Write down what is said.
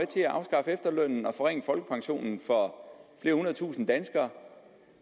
til at afskaffe efterlønnen og forringe folkepensionen for flere hundredtusinde danskere